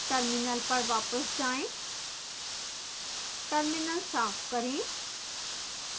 terminal पर वापस जाएं terminal साफ करें